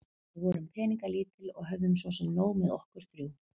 Við vorum peningalítil og höfðum svo sem nóg með okkur þrjú.